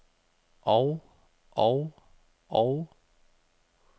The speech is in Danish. og og og